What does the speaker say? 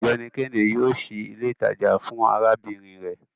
Ọgbẹni Kehinde yoo ṣii ile itaja fun arabinrin rẹ